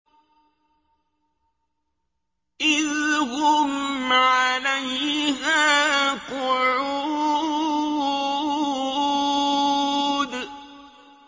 إِذْ هُمْ عَلَيْهَا قُعُودٌ